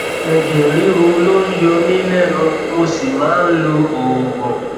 ẹjẹ ríru ló ń yọ mí lẹnu mo sì máa ń lo oògùn